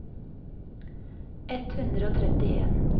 ett hundre og trettien